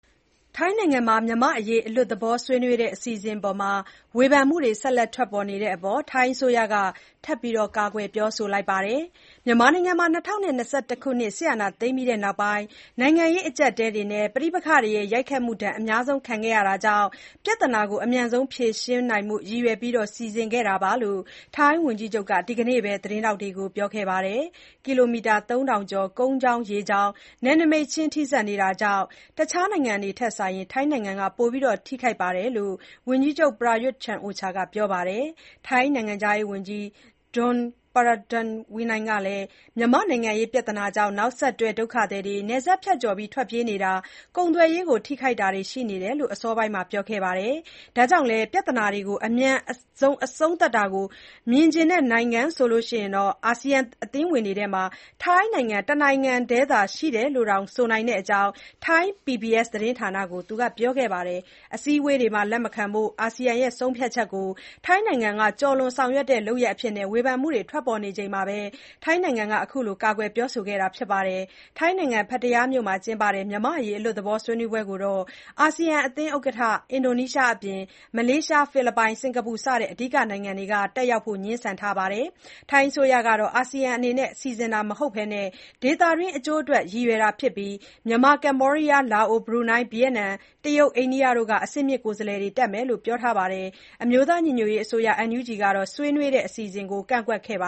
ထိုင်းနိုင်ငံမှာ မြန်မာ့အရေး အလွတ်သဘော ဆွေးနွေးတဲ့ အစီအစဉ်အပေါ် ဝေဖန်မှုတွေ ဆက်လက်ထွက်ပေါ်နေတဲ့အပေါ် ထိုင်းအစိုးရက ထပ်မံကာကွယ်ပြောဆိုလိုက်ပါတယ်။ မြန်မာနိုင်ငံမှာ ၂၀၂၁ ခုနှစ် စစ်အာဏာသိမ်းပြီးနောက်ပိုင်း နိုင်ငံရေး အကျပ်အတည်းတွေနဲ့ ပဋိပက္ခတွေရဲ့ ရိုက်ခတ်မှုဒဏ် အများဆုံး ခံနေရတာကြောင့် ပြဿနာကို အမြန်ဆုံးဖြေရှင်းနိုင်ဖို့ ရည်ရွယ်ပြီး စီစဉ်ခဲ့တာလို့ ထိုင်းဝန်ကြီးချုပ်က ဒီကနေ့ပဲ သတင်းထောက်တွေကို ပြောခဲ့တာပါ။ ကီလိုမီတာ ၃,၀၀၀ ကျော် ကုန်းကြောင်း၊ ရေကြောင်း နယ်နမိတ်ချင်း ထိစပ်နေတာကြောင့် တခြားနိုင်ငံတွေထက် ထိုင်းနိုင်ငံက ပိုပြီးထိခိုက်နေတယ်လို့ ဝန်ကြီးချုပ် Prayuth Chan-ocha ကပြောပါတယ်။ ထိုင်းနိုင်ငံခြားရေးဝန်ကြီး Don Pramudwinai ကလည်း မြန်မာ့နိုင်ငံရေး ပြဿနာကြောင့် နောက်ဆက်တွဲ ဒုက္ခသည်တွေ နယ်စပ်ဖြတ်ကျော် ထွက်ပြေးနေတာ၊ ကုန်သွယ်ရေးကို ထိခိုက်တာတွေ ရှိနေတယ်လို့ အစောပိုင်းမှာ ပြောခဲ့တာပါ။ ဒါကြောင့်လည်း “ပြဿနာတွေကို အမြန်ဆုံး အဆုံးသတ်တာကို မြင်ချင်တဲ့ နိုင်ငံဆိုလို့ အာဆီယံ အသင်းဝင်တွေထဲမှာ ထိုင်းနိုင်ငံ တနိုင်ငံတည်းသာ ရှိတယ်လို့တောင် ဆိုနိုင်တဲ့အကြောင်း ထိုင်း PBS သတင်းဌာနကို ပြောခဲ့ပါတယ်။ အစည်းအဝေးတွေမှာ လက်မခံဖို့ အာဆီယံရဲ့ ဆုံးဖြတ်ချက်ကို ထိုင်းနိုင်ငံက ကျော်လွန်ဆောင်ရွက်တဲ့ လုပ်ရပ်အဖြစ်နဲ့ ဝေဖန်မှုတွေ ထွက်ပေါ်နေချိန်မှာပဲ ထိုင်းနိုင်ငံက ကာကွယ်ပြောဆိုခဲ့တာပါ။ ထိုင်းနိုင်ငံ ပတ္တရားမြို့မှာ ကျင်းပတဲ့ မြန်မာ့အရေး အလွတ်သဘော ဆွေးနွေးပွဲကိုတော့ အာဆီယံအသင်းဥက္ကဋ္ဌ အင်ဒိုနီးရှားအပြင် မလေးရှား၊ ဖိလစ်ပိုင်၊ စင်ကာပူ စတဲ့ အဓိက နိုင်ငံတွေကတော့ တက်ရောက်ဖို့ ငြင်းဆန်ထားကြပါတယ်။ ထိုင်းအစိုးရကတော့ အာဆီယံအသင်းအနေနဲ့ စီစဉ်တာမဟုတ်ဘဲ ဒေသတွင်း အကျိုးအတွက် ရည်ရွယ်တာဖြစ်ပြီး၊ မြန်မာ၊ ကမ္ဘောဒီးယား၊ လာအို၊ ဘရူနိုင်း၊ ဗီယက်နမ်၊ တရုတ်၊ အိန္ဒိယနိုင်ငံတို့က အဆင့်မြင့်ကိုယ်စားလှယ်တွေ တက်မယ်လို့လည်း အစောပိုင်းမှာ ပြောထားပါတယ်။ အမျိုးသားညီညွတ်ရေးအစိုးရ ကတော့ ဆွေးနွေးတဲ့ အစီအစဉ်ကို ကန့်ကွက်ခဲ့တာပါ